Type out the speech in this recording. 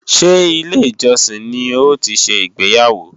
Ṣé ilé-ìjọsìn ni ó ti ṣe ìgbéyàwó?